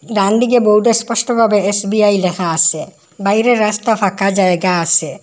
ডানদিকে বোর্ডে স্পষ্টভাবে এস_বি_আই লেখা আসে বাইরের রাস্তা ফাঁকা জায়গা আসে ।